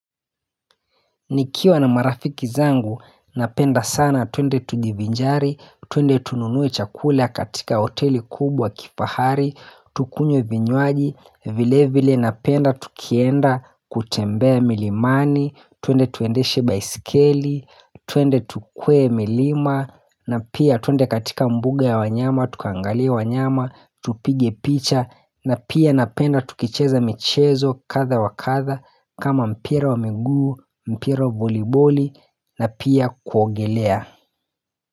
Nikiwa na marafiki zangu, napenda sana twende tujivinjari, twende tununue chakula katika hoteli kubwa kifahari, tukunywe vinywaji, vile vile napenda tukienda kutembea milimani, twende tuendeshe baisikeli, twende tukue milima, na pia twende katika mbuga ya wanyama, tukaangalie wanyama, tupige picha, na pia napenda tukicheza michezo kadha wa kadha, kama mpira wa miguu, mpira wa voliboli na pia kuogelea.